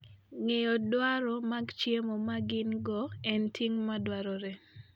Ng'eyo dwaro mag chiemo ma gin - go en ting' madwarore.